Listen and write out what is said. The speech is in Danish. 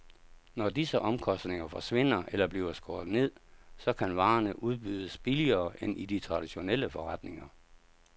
Når disse omkostninger forsvinder eller bliver skåret ned, så kan varerne udbydes billigere end i de traditionelle forretninger.